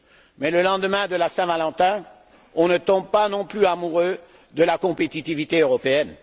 Mais le lendemain de la Saint Valentin, on ne tombe pas non plus amoureux de la compétitivité européenne.